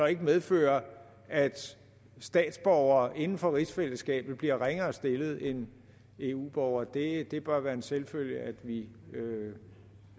ikke medfører at statsborgere inden for rigsfællesskabet bliver ringere stillet end eu borgere det det bør være en selvfølge at vi vi